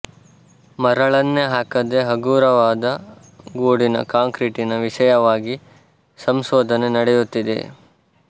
ಮರಳನ್ನೇ ಹಾಕದೆ ಹಗುರವಾದ ಗೂಡಿನ ಕಾಂಕ್ರೀಟಿನ ವಿಷಯವಾಗಿ ಸಂಶೋಧನೆ ನಡೆಯುತ್ತಿದೆ